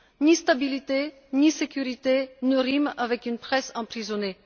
Ni stabilité ni sécurité ne riment avec une presse emprisonnée.